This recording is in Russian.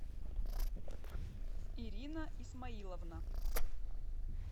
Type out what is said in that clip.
ирина исмаиловна